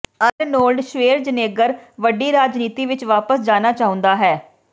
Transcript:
Arnold Schwarzenegger ਵੱਡੀ ਰਾਜਨੀਤੀ ਵਿਚ ਵਾਪਸ ਜਾਣਾ ਚਾਹੁੰਦਾ ਹੈ